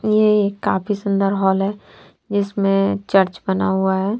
यह एक काफी सुंदर हॉल है जिसमे चर्च बना हुआ है।